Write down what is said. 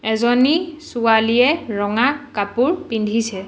এজনী ছোৱালীয়ে ৰঙা কাপোৰ পিন্ধিছে।